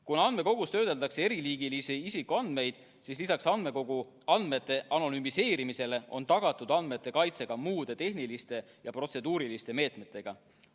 Kuna andmekogus töödeldakse eriliigilisi isikuandmeid, siis lisaks andmekogu andmete anonümiseerimisele on tagatud andmete kaitse ka muude tehniliste ja protseduuriliste meetmetega.